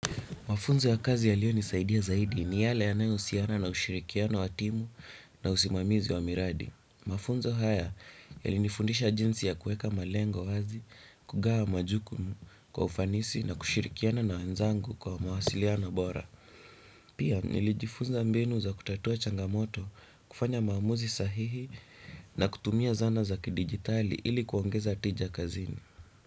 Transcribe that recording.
Mafunzo ya kazi yaliyonisaidia zaidi ni yale yanayohusiana na ushirikiano wa timu na usimamizi wa miradi. Mafunzo haya yalinifundisha jinsi ya kuweka malengo wazi, kugawa majukumu kwa ufanisi na kushirikiana na wenzangu kwa mawasiliano bora. Pia, nilijifunza mbinu za kutatua changamoto, kufanya maamuzi sahihi na kutumia zana za kidijitali ili kuongeza tija kazini.